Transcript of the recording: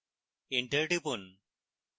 enter টিপুন